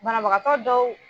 Banabagatɔ dɔw